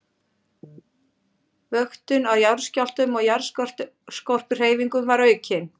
Vöktun á jarðskjálftum og jarðskorpuhreyfingum var aukin.